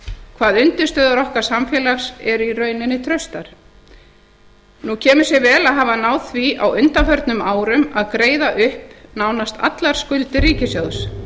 hvað undirstöður okkar samfélags eru í rauninni traustar nú kemur sér vel að hafa náð því á undanförnum árum að greiða upp nánast allar skuldir ríkissjóðs